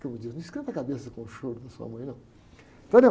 Como diz, não esquenta a cabeça com o choro da sua mãe, não.